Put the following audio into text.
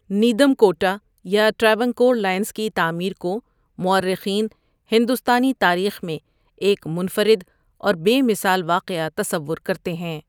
Nedumkotta quota یا Travancore lines کی تعمیر کو مورخین، ہندوستانی تاریخ میں ایک منفرد اور بے مثال واقعہ تصور کرتے ہیں۔